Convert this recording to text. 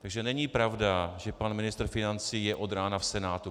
Takže není pravda, že pan ministr financí je od rána v Senátu.